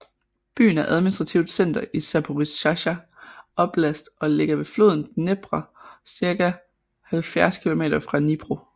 Byen er administrativt center i Zaporizjzja oblast og ligger ved floden Dnepr cirka 70 kilometer fra Dnipro